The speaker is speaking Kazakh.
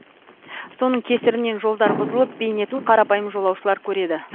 соның кесірінен жолдар бұзылып бейнетін қарапайым жолаушылар көреді